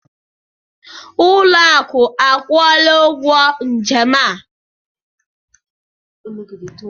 Ụlọakụ akwụọla ụgwọ njem a.